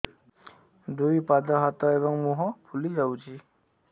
ଦୁଇ ପାଦ ହାତ ଏବଂ ମୁହଁ ଫୁଲି ଯାଉଛି